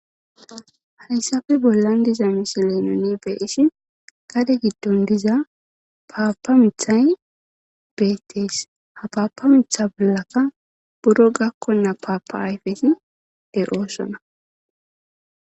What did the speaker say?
Hayssafe bollan diza misile nuni be7ishin gade giddon diza paapa mithay beettees ha paapa mitha bollaka buro gakkonna paapa ayfeti de7oosona.